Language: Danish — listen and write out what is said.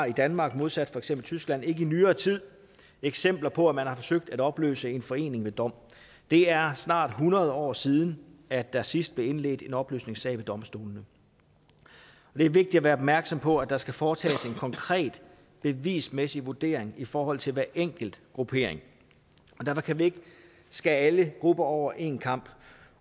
i danmark i modsætning til tyskland i nyere tid eksempler på at man har forsøgt at opløse en forening ved dom og det er snart hundrede år siden at der sidst blev indledt en opløsningssag ved domstolene det er vigtigt at være opmærksom på at der skal foretages en konkret bevismæssig vurdering i forhold til hver enkelt gruppering derfor kan vi ikke skære alle grupper over en kam